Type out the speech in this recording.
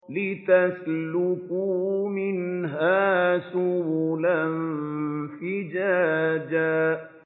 لِّتَسْلُكُوا مِنْهَا سُبُلًا فِجَاجًا